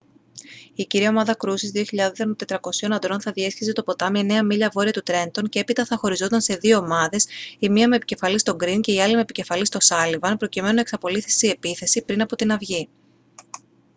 η κύρια ομάδα κρούσης 2.400 αντρών θα διέσχιζε το ποτάμι εννέα μίλια βόρεια του τρέντον και έπειτα θα χωριζόταν σε δύο ομάδες η μία με επικεφαλής τον γκριν και η άλλη με επικεφαλής τον σάλιβαν προκειμένου να εξαπολύσει επίθεση πριν από την αυγή